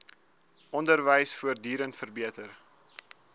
onderwys voortdurend verbeter